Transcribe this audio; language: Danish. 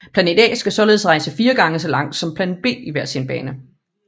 Planet A skal således rejse fire gange så langt som planet B i hver bane